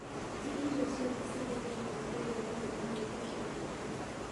ti irio ciothe ciĩtĩkĩrĩtio kũrĩo nĩ mawĩtĩkio mothe